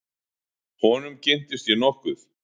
Honum kynntist ég nokkuð.